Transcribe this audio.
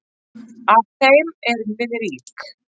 Af þeim erum við rík.